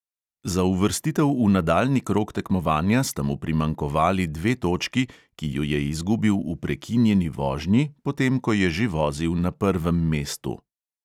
Za uvrstitev v nadaljnji krog tekmovanja sta mu primanjkovali dve točki, ki ju je izgubil v prekinjeni vožnji, potem, ko je že vozil na prvem mestu.